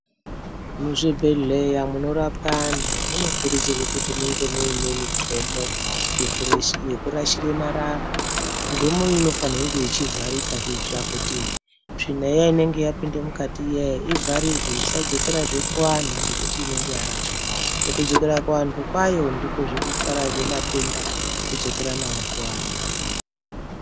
Muzvibhedhleya munorapwa antu munokurudzira kuti munge muine mudxomo mwekurashire marara. Mudxomo iyi inofanirwa kunge yechivarika kuitira kuti tsvina iya inenge yapinda mukati iya ivharirwe isadzokerazve kuvantu ngekuti enenge yarashwa. Mukudzokera kuantu kwayo ndikozve mukutwara matenda kudzokera nawo kuantu.